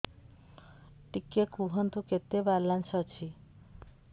ଟିକେ କୁହନ୍ତୁ କେତେ ବାଲାନ୍ସ ଅଛି